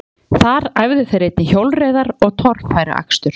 Þar æfðu þeir einnig hjólreiðar og torfæruakstur.